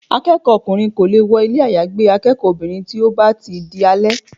Akẹ́kọ̀ọ́ ọkùnrin kò lè wọ ilé àyágbé akẹ́kọ̀ọ́ obìnrin tí ó bá ti di alẹ́.